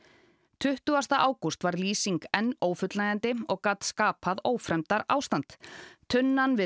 tuttugasti ágúst var lýsing enn ófullnægjandi og gat skapað ófremdarástand tunnan við